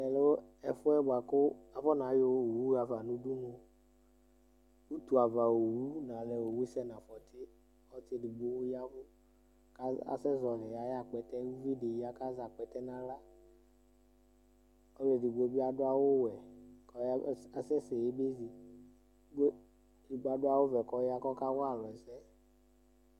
Tɛ lɛ ɛfʋ yɛ bʋa kʋ afɔna yɔ owu ɣa fa nʋ udunu Utuava owu nalɛ owu sɛ nʋ afɔtɩ Ɔsɩ edigbo ɔya ɛvʋ kʋ az asɛzɔɣɔlɩ ayʋ akpɛtɛ yɛ Uvi dɩ ya kʋ azɛ akpɛtɛ nʋ aɣla Ɔlʋ edigbo bɩ adʋ awʋwɛ kʋ ɔy asɛsɛ yaba ezi kʋ edigbo adʋ awʋvɛ kʋ ɔya kʋ ɔkawa alʋ ɛsɛ